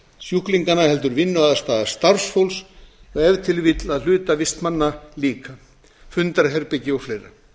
sjúklinganna heldur vinnuaðstaða starfsfólks og ef til vill að hluta vistmanna líka fundarherbergi og fleira